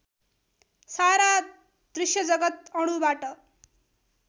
सारा दृश्यजगत् अणुबाट